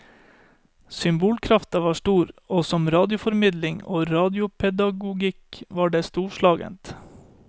Symbolkrafta var stor, og som radioformidling og radiopedagogikk var det storslagent.